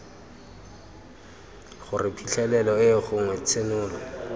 gore phitlhelelo eo gongwe tshenolo